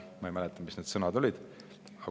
Ma ei mäleta, mis need sõnad olid.